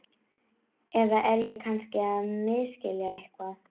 Eða er ég kannski að misskilja eitthvað?